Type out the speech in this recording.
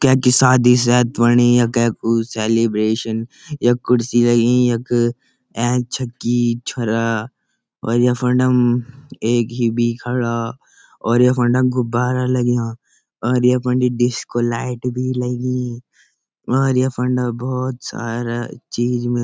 कैंकी शादी शायद ह्वणी य कैकु सेलिब्रेशन यख कुर्सी लगीं यख ऐंच छक्की छोरा और यख फुंडम एक ही भी खड़ा और यख फुंडम गुब्बारा लग्यां और यख फुंडी डिस्को लाइट भी लगीं और यख फुंडा भौत सारा चीज मिल।